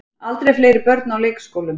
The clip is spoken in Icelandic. Aldrei fleiri börn á leikskólum